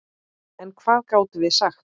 En hvað gátum við sagt?